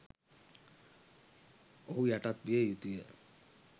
ඔහු යටත් විය යුතුය